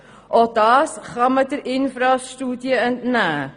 Auch dies ist der INFRAS-Studie zu entnehmen.